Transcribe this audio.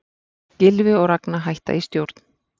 Gylfi og Ragna hætta í stjórn